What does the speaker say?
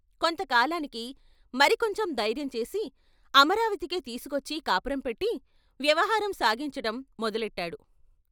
కొంత కాలానికి మరి కొంచెం ధైర్యం చేసి అమరావతికే తీసుకొచ్చి కాపురం పెట్టి వ్యవహారం సాగించటం మొదలెట్టాడు.